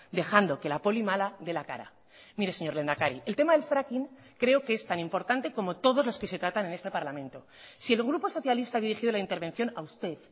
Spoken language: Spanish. dejando que la poli mala de la cara mire señor lehendakari el tema del fracking creo que es tan importante como todos los que se tratan en este parlamento si el grupo socialista ha dirigido la intervención a usted